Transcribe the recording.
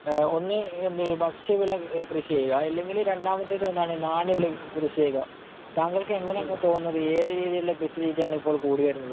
ഒന്ന് എന്ത് എഹ് ഭക്ഷ്യവിളകൾ കൃഷി ചെയ്യുക. ഇല്ലെങ്കിൽ രണ്ടാമത്തേത് എന്താണ് നാണ്യവിളകൾ കൃഷി ചെയ്യുക. താങ്കൾക്ക് എങ്ങനെയാണ് തോന്നുന്നത്? ഏത് രീതിയിലുള്ള കൃഷിരീതിയാണ് ഇപ്പോൾ കൂടിവരുന്നത്?